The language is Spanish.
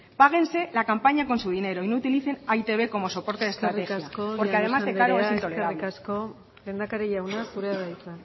páguense la campaña con su dinero no utilicen a e i te be como soporte de estrategia porque además de caro es intolerable eskerrik asko llanos anderea lehendakari jauna zurea da hitza